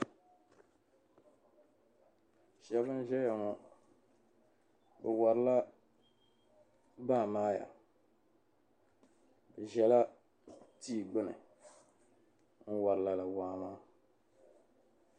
shɛba n-ʒeya ŋɔ bɛ warila baamaaya bɛ ʒela tia gbuni n-wari lala waa maa